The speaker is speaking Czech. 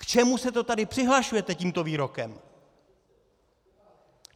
K čemu se to tady přihlašujete tímto výrokem?